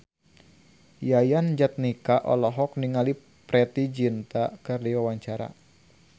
Yayan Jatnika olohok ningali Preity Zinta keur diwawancara